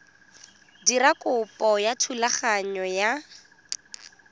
dira kopo ya thulaganyo ya